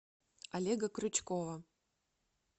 олега крючкова